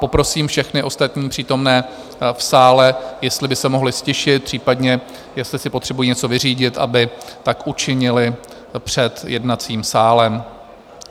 Poprosím všechny ostatní přítomné v sále, jestli by se mohli ztišit, případně jestli si potřebují něco vyřídit, aby tak učinili před jednacím sálem.